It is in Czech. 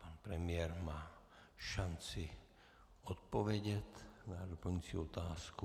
Pan premiér má šanci odpovědět na doplňující otázku.